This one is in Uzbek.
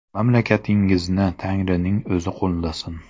Mamlakatingizni Tangrining o‘zi qo‘llasin.